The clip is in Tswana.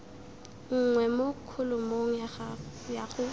nngwe mo kholomong ya go